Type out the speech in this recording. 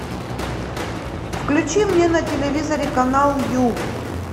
включи мне на телевизоре канал ю